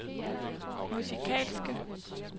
musikalske